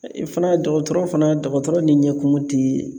fɛnɛ dɔgɔtɔrɔ fana dɔgɔtɔrɔ ni ɲɛkumu ti